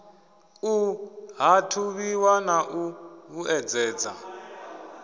u ṱhathuvhiwa na u vhuedzedza